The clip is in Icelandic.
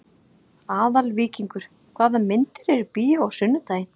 Aðalvíkingur, hvaða myndir eru í bíó á sunnudaginn?